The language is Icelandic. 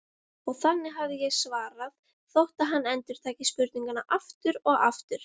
Og þannig hefði ég svarað, þótt hann endurtæki spurninguna aftur og aftur.